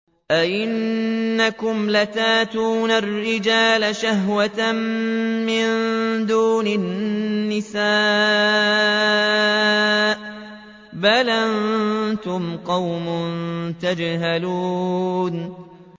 أَئِنَّكُمْ لَتَأْتُونَ الرِّجَالَ شَهْوَةً مِّن دُونِ النِّسَاءِ ۚ بَلْ أَنتُمْ قَوْمٌ تَجْهَلُونَ